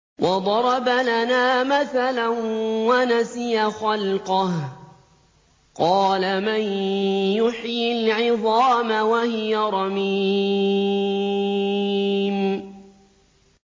وَضَرَبَ لَنَا مَثَلًا وَنَسِيَ خَلْقَهُ ۖ قَالَ مَن يُحْيِي الْعِظَامَ وَهِيَ رَمِيمٌ